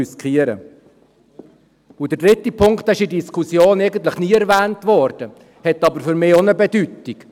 Und der dritte Punkt wurde in der Diskussion eigentlich nie erwähnt, hat aber für mich auch eine Bedeutung.